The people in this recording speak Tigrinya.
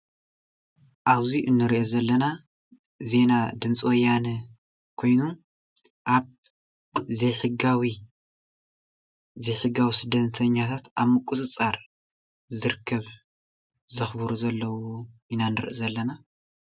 ኣብዙይ እንሪኦ ዘለና ዜና ድምፂወያነ ኾይኑ ኣብ ዘይሕጋዊ ስደተኛታት ኣብ ምቁፅፃር ዝርከቡ ኢና ንርኢ ዘለና ።